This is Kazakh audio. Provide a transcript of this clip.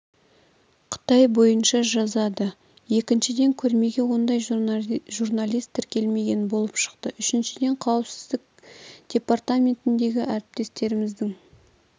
қытай бойынша жазады екіншіден көрмеге ондай журналист тіркелмеген болып шықты үшіншіден қауіпсіздік департаментіндегі әріптестеріміздің